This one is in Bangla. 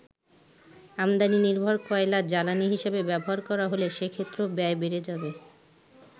আমদানি নির্ভর কয়লা জ্বালানী হিসেবে ব্যবহার করা হলে সেক্ষেত্রেও ব্যয় বেড়ে যাবে।